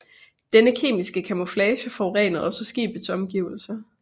Denne kemiske camouflage forurenede også skibets omgivelser